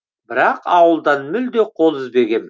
бірақ ауылдан мүлде қол үзбегем